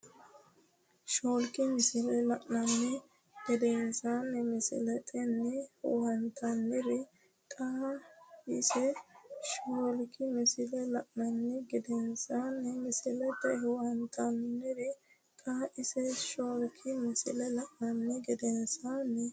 Shoolki misile la’ini gedensaanni misiletenni huwattinoonnire xaw- isse Shoolki misile la’ini gedensaanni misiletenni huwattinoonnire xaw- isse Shoolki misile la’ini gedensaanni.